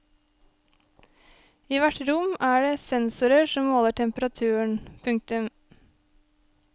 I hvert rom er det sensorer som måler temperaturen. punktum